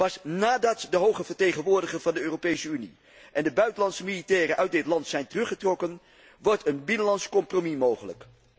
Pas nadat de hoge vertegenwoordiger van de Europese Unie en de buitenlandse militairen uit dit land zijn teruggetrokken wordt een binnenlands compromis mogelijk.